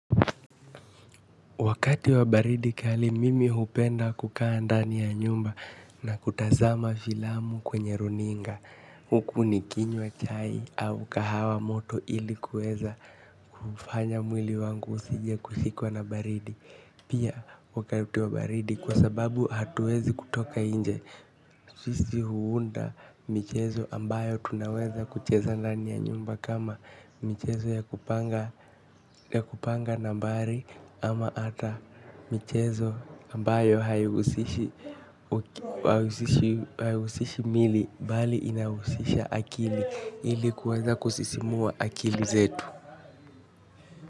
Wakati wa baridi kali mimi hupenda kukaa ndani ya nyumba na kutazama filamu kwenye runinga. Huku nikinywa chai au kahawa moto ili kuweza kufanya mwili wangu usije kushikwa na baridi. Pia wakati wa baridi kwa sababu hatuwezi kutoka nje. Sisi huunda michezo ambayo tunaweza kucheza ndani ya nyumba kama michezo ya kupanga nambari ama ata michezo ambayo haihusishi haihusishi miili bali inahusisha akili ili kuweza kusisimua akili zetu.